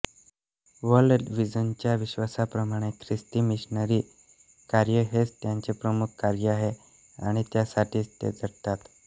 world विजनच्या विश्वासाप्रमाणे ख्रिस्ती मिशनरी कार्य हेच त्यांचे प्रमुख कार्य आहे आणि त्यासाठीच ते झटतात